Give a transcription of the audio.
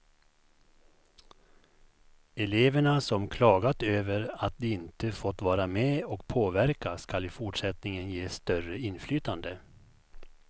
Eleverna, som klagat över att de inte fått vara med och påverka, skall i fortsättningen ges större inflytande.